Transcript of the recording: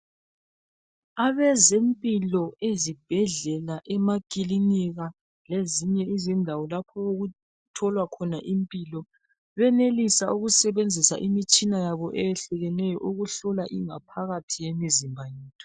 Abezempilo ezibhedlela, emakilinika lezinye izindawo lapho okutholwa khona impilo benelise ukusebenzisa imitshina yabo eyehlukeneyo ukuhlola ingaphakathi yemizimba yethu.